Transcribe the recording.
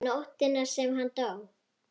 Nóttina sem hann dó?